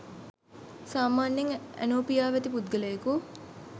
සාමාන්‍යයෙන් ඇනෝපියාව ඇති පුද්ගලයකු